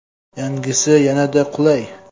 Yangisi yanada qulay!.